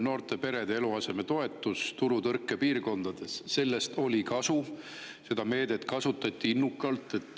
Noorte perede eluasemetoetusest turutõrke piirkondades oli kasu, seda meedet kasutati innukalt.